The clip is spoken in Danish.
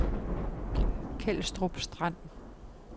Kelstrup Strand